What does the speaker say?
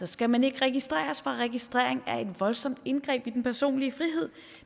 skal man ikke registreres for registrering er et voldsomt indgreb i den personlige frihed